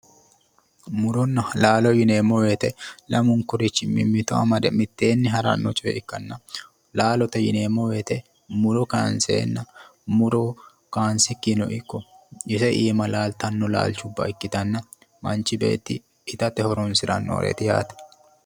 Muronna laalo yineemmo woyiite, lamunkurichi mimmito amade mitteenni haranno coye ikkanna laalote yineemmo woyiite muro kaayiinsenna muro kaansikkino ikko iima laaltanno laalchubba ikkitanna manchi beeti itate horonsirannoreeti yaate.